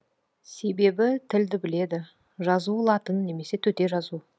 себебі тілді біледі жазуы латын немесе төте жазу